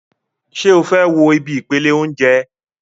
Ṣé o fẹ́ wo ibi ìpele óúnjẹ?